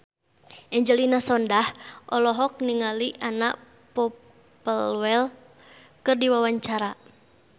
Angelina Sondakh olohok ningali Anna Popplewell keur diwawancara